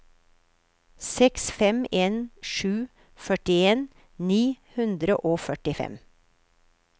seks fem en sju førtien ni hundre og førtifem